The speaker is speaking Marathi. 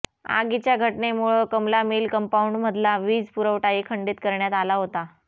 आगीच्या घटनेमुळे कमला मिल कम्पाऊंडमधला वीज पुरवठाही खंडित करण्यात आला होता